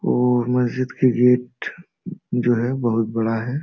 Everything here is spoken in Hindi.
और मस्जिद के गेट जो है बहुत बड़ा है।